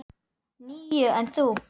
Níu, en þú?